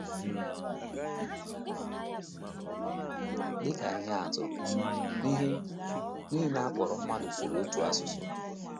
Dị ka ihe atụ, ihe nile a kpọrọ mmadụ sụrụ otu asụsụ.